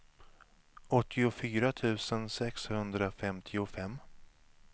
åttiofyra tusen sexhundrafemtiofem